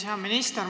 Hea minister!